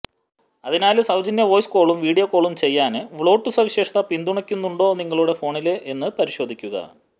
അതിനാല് സൌജന്യ വോയിസ് കോളും വീഡിയോ കോളും ചെയ്യാന് വോള്ട്ട് സവിശേഷത പിന്തുണയ്ക്കുന്നുണ്ടോ നിങ്ങളുടെ ഫോണില് എന്ന് പരിശോധിക്കുക